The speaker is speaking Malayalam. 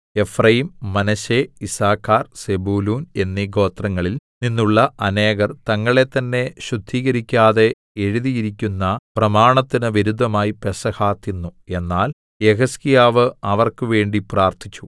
എഫ്രയീം മനശ്ശെ യിസ്സാഖാർ സെബൂലൂൻ എന്നീ ഗോത്രങ്ങളിൽ നിന്നുള്ള അനേകർ തങ്ങളെത്തന്നെ ശുദ്ധീകരിക്കാതെ എഴുതിയിരിക്കുന്ന പ്രമാണത്തിന് വിരുദ്ധമായി പെസഹ തിന്നു എന്നാൽ യെഹിസ്കീയാവ് അവർക്ക് വേണ്ടി പ്രാർത്ഥിച്ചു